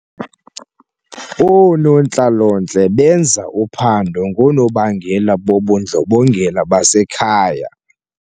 Oonontlalontle benza uphando ngoonobangela bobundlobongela basekhaya.